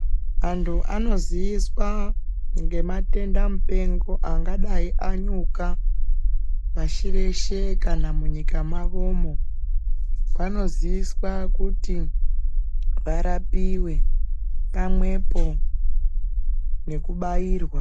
Antu anoziiswa ngematenda mupengo angadai anyuka pashi reshe kana munyika mwawomwo vanoziviswa kuti varapiwe pamwepo nekubairwa.